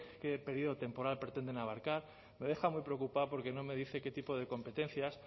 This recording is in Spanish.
qué periodo temporal pretenden abarcar me deja muy preocupado porque no me dice qué tipo de competencias